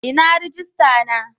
Inna rijista na?